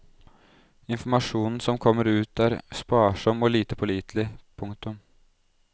Informasjonen som kommer ut er sparsom og lite pålitelig. punktum